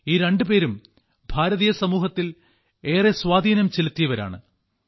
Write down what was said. ഈ രണ്ടുപേരും ഭാരതീയ സമൂഹത്തിൽ ഏറെ സ്വാധീനം ചെലുത്തിയവരാണ്